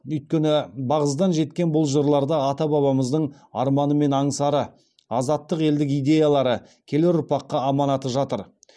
өйткені бағзыдан жеткен бұл жырларда ата бабамыздың арманы мен аңсары азаттық елдік идеялары келер ұрпаққа аманаты жатыр